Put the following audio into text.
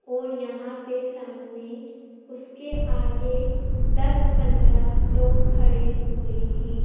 और यहां पे सामने उसके आगे दस पंद्रह लोग खडे हुए है।